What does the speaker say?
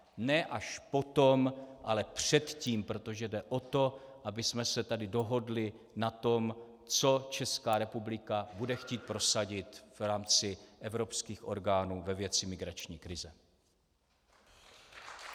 Ne až potom, ale předtím, protože jde o to, abychom se tady dohodli na tom, co Česká republika bude chtít prosadit v rámci evropských orgánů ve věci migrační krize.